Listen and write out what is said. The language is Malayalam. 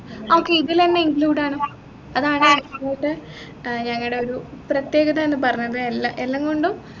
ആഹ് okay ഇതിലെന്നെ included ആണ് അതാണ് ഇവിടെത്തെ ഞങ്ങളുടെ ഒരു പ്രതേകതാന്നു പറഞ്ഞത് എല്ലാ എല്ലാംകൊണ്ടും